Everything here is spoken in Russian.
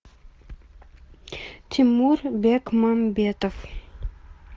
тимур бекмамбетов